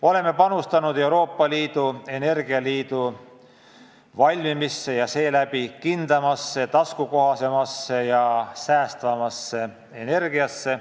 Oleme panustanud Euroopa Liidu energialiidu loomisesse ja seeläbi kindlamasse, taskukohasemasse ja säästvamasse energiasse.